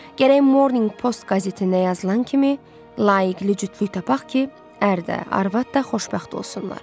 Gərək Morning Post qəzetində yazılan kimi layiqəli cütlük tapmaq ki, ərdə, arvad da xoşbəxt olsunlar.